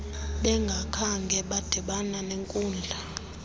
bengakhange badibana nenkudla